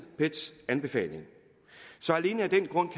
pets anbefaling så alene af den grund